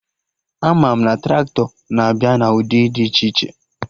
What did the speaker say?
Ama m na Traktọ na-abịa na ụdị dị iche iche